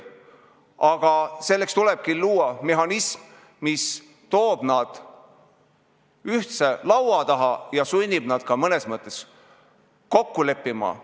Aga selleks tulebki luua mehhanism, mis toob nad ühise laua taha ja sunnib nad ka mõnes mõttes kokku leppima.